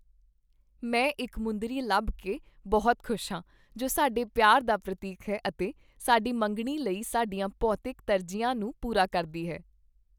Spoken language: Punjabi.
ਮੈਂ ਇੱਕ ਮੁੰਦਰੀ ਲੱਭ ਕੇ ਬਹੁਤ ਖੁਸ਼ ਹਾਂ ਜੋ ਸਾਡੇ ਪਿਆਰ ਦਾ ਪ੍ਰਤੀਕ ਹੈ ਅਤੇ ਸਾਡੀ ਮੰਗਣੀ ਲਈ ਸਾਡੀਆਂ ਭੌਤਿਕ ਤਰਜੀਹਾਂ ਨੂੰ ਪੂਰਾ ਕਰਦੀ ਹੈ।